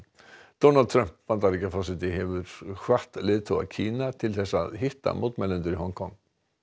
Donald Trump Bandaríkjaforseti hefur hvatt leiðtoga Kína til að hitta mótmælendur í Hong Kong